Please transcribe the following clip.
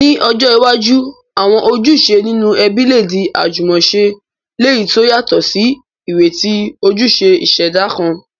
Ní ọjọ́ iwájú, àwọn ojúṣe nínú ẹbí lè di àjúmọ̀se, léyìí to yàtò sí ìrètí ojúṣe ìṣẹ̀dá kan.